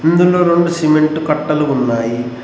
ముందున్న రెండు సిమెంటు కట్టలు ఉన్నాయి.